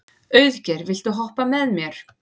Auðgeir, viltu hoppa með mér?